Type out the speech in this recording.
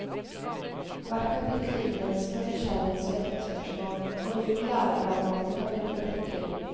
Hvert kapittel innledes med nysgjerrighetsvekkende spørsmål og hvilke læreplanmål kapitlet dekker.